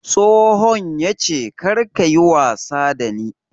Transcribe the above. Tsohon yace karka yi wasa da ni!